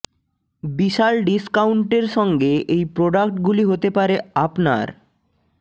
বিশাল ডিস্কাউন্টের সঙ্গে এই প্রোডাক্ট গুলি হতে পারে আপনার